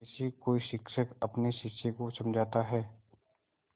जैसे कोई शिक्षक अपने शिष्य को समझाता है